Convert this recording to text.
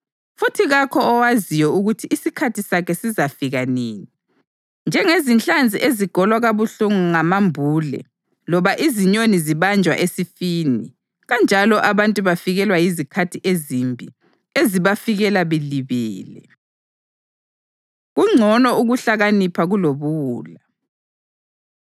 Futhi kakho owaziyo ukuthi isikhathi sakhe sizafika nini: Njengezinhlanzi ezigolwa kabuhlungu ngamambule loba izinyoni zibanjwa esifini, kanjalo abantu bafikelwa yizikhathi ezimbi ezibafikela belibele. Kungcono Ukuhlakanipha Kulobuwula